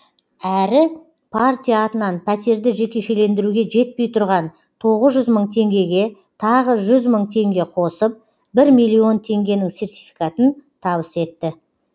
әрі партия атынан пәтерді жекешелендіруге жетпей тұрған тоғыз жүз мың теңгеге тағы жүз мың теңге қосып бір миллион теңгенің сертификатын табыс етті